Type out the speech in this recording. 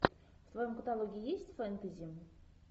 в твоем каталоге есть фэнтези